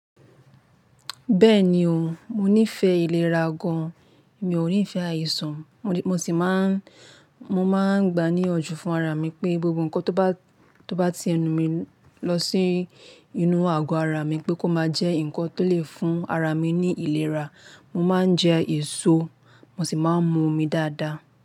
Bẹ́ẹ̀ni o, mo nífẹ̀ẹ́ ìlera gan-an, mi ò nífẹ̀ẹ́ àìsàn. Mo sì máa ń, mo máa ń gba ní iyànjú fún ara mi pé gbogbo nkan tó bá, tó bá ti ẹnu mi lọ sí inú àgọ́ ara mi pé kó máa jẹ́ nǹkan tó lè fún ara mi ní ìlera. Mo máa ń jẹ èso, mo sì máa ń mu omi dáadáa.